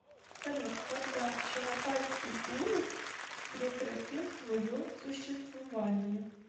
салют когда чагатайский улус прекратил свое существование